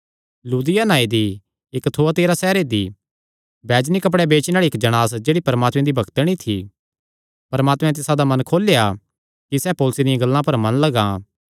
लुदिया नांऐ दी इक्क थुआतीरा सैहरे दी बैजनी कपड़ेयां बेचणे आल़ी इक्क जणांस जेह्ड़ी परमात्मे दी भक्तणी थी परमात्मे तिसादा मन खोलेया कि सैह़ पौलुसैं दियां गल्लां पर मन लगां